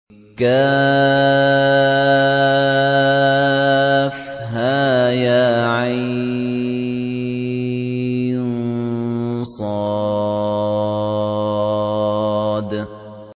كهيعص